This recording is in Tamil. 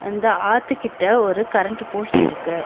அந்த ஆத்து கிட்ட ஒரு கரண்ட் போஸ்ட் இருக்கு.